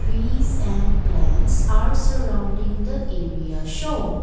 peace and plants are surrounding the area shown. l